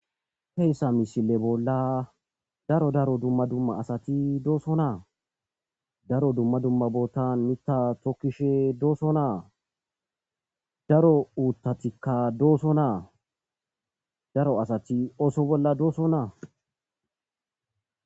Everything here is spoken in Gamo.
heyssa misile bolla daro daro dumma dumma asati doosonaa, daro dumma dumma bootan mita tokkishe doosnaa daro uuttatikka doosonaa daro asati oso bolla doosonaa